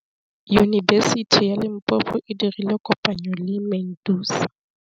Yunibesiti ya Limpopo e dirile kopanyô le MEDUNSA.